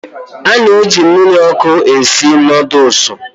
A na-eji mmiri ọkụ esi nudlesu